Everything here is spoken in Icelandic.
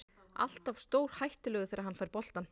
Alltaf stórhættulegur þegar hann fær boltann.